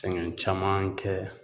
Sɛgɛn caman kɛ yan